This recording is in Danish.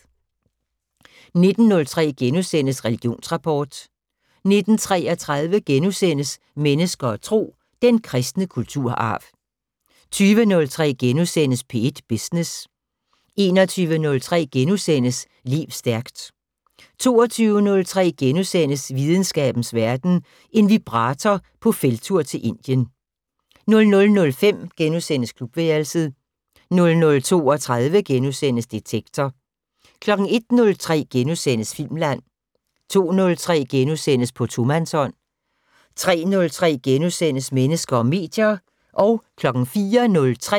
19:03: Religionsrapport * 19:33: Mennesker og Tro: Den kristne kulturarv * 20:03: P1 Business * 21:03: Lev stærkt * 22:03: Videnskabens Verden: En vibrator på felttur til Indien * 00:05: Klubværelset * 00:32: Detektor * 01:03: Filmland * 02:03: På tomandshånd * 03:03: Mennesker og medier *